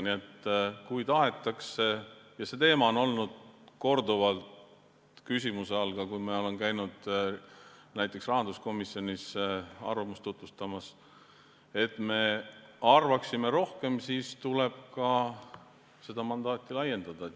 Nii et kui tahetakse – see teema on olnud korduvalt küsimuse all, kui ma olen käinud näiteks rahanduskomisjonis nõukogu arvamust tutvustamas –, et me arvaksime rohkem, siis tuleb seda mandaati laiendada.